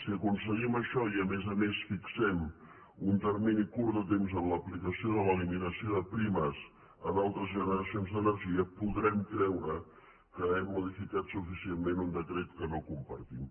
si aconseguim això i a més a més fixem un termini curt de temps en l’aplicació de l’eliminació de primes a d’altres generacions d’energia podrem creure que hem modificat suficientment un decret que no compartim